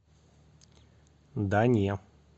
да не